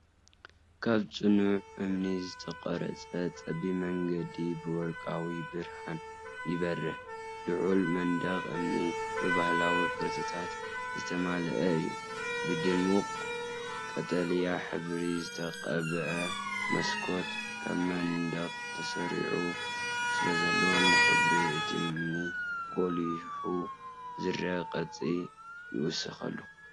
ካብ ጽኑዕ እምኒ ዝተቐርጸ ጸቢብ መንገዲ ብወርቃዊ ብርሃን ይበርህ። ልዑል መንደቕ እምኒ ብባህላዊ ቅርጻታት ዝተመልአ እዩ። ብድሙቕ ቀጠልያ ሕብሪ ዝተቐብአ መስኮት ኣብ መንደቕ ተሰሪዑ ስለዘሎ፡ ንሕብሪ እቲ እምኒ ጐሊሑ ዝረአ ቅርጺ ይውስኸሉ።